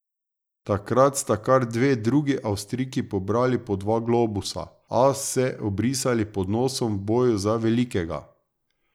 Takrat sta kar dve drugi Avstrijki pobrali po dva globusa, a se obrisali pod nosom v boju za velikega.